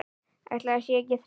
Ætli það sé ekki þreyta